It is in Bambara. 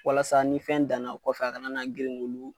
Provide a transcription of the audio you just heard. Walasa ni fɛn danna o kɔfɛ a kana na grin k'olu.